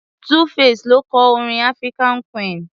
2-face ló kọ orin African queen.